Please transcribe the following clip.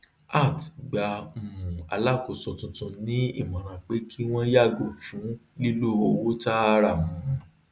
art gba um alákóso tuntun ní àmọran pé kí wọn yàgò fún lílò owó taara um